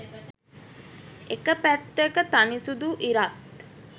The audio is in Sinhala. එක පැත්තක තනි සුදු ඉරත්